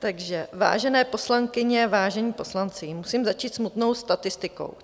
Takže vážené poslankyně, vážení poslanci, musím začít smutnou statistikou.